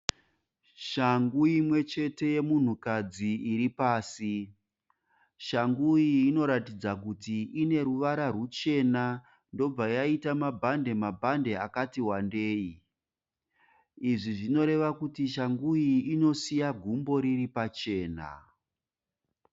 Shangu imwe chete yemunhukadzi iri pasi. Shangu iyi inoratidza kuti ine ruvara ruchena yobva yaita mabhande mabhande akati wandei. Izvi zvinoreva kuti shangu iyi inosiya gumbo riri pachena.